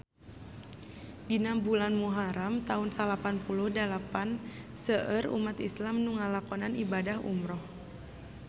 Dina bulan Muharam taun salapan puluh dalapan seueur umat islam nu ngalakonan ibadah umrah